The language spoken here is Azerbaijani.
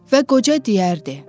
Və qoca deyərdi: